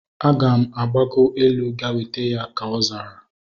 Aga m agbago elu ga weta ha, ka ọ zara